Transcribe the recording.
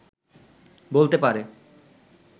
বলতে পারে